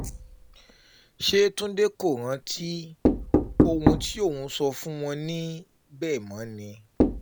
ṣe túnde kò rántí ohun tí òun sọ fún wọn níbẹ̀ mọ́ ni